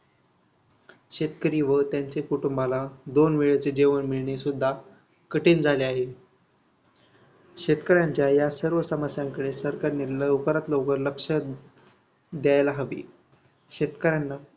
शेतकरी व त्यांचे कुटुंबांला दोन वेळेचे जेवण मिळणेसुद्धा कठीण झाले आहे. शेतकऱ्यांच्या या सर्व समस्यांकडे सरकारने लवकरात लवकर लक्ष द्यायला हवी. शेतकऱ्यांना